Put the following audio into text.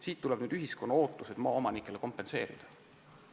Järelikult tuleb ühiskonna ootused maaomanikele kompenseerida.